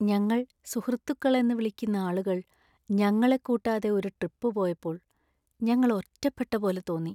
ഞങ്ങൾ സുഹൃത്തുക്കളെന്ന് വിളിക്കുന്ന ആളുകൾ ഞങ്ങളെ കൂട്ടാതെ ഒരു ട്രിപ്പ് പോയപ്പോൾ ഞങ്ങൾ ഒറ്റപ്പെട്ട പോലെ തോന്നി .